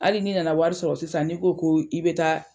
Hali ni nana wari sɔrɔ sisan n'i ko ko i bɛ taa